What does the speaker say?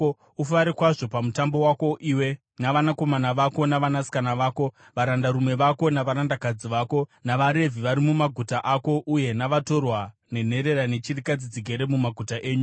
Ufare kwazvo paMutambo wako, iwe, navanakomana vako navanasikana vako, varandarume vako navarandakadzi vako, navaRevhi vari mumaguta ako, uye navatorwa, nenherera nechirikadzi dzigere mumaguta enyu.